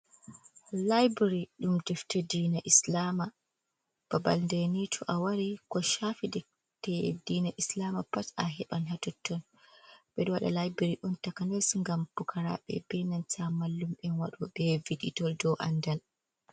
"Laibiri" ɗum defta dina islama babal nde ni to a wari ko shafi defte dina islama pat a heban ha totton ɓeɗo wada laibari on takanas ngam pukaraɓe ɓe inanta mallum'en en en waɗo ɓe viɗitol ɗou andal.